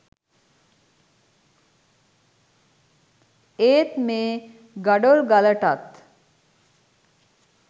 ඒත් මේ ගඩොල් ගලටත්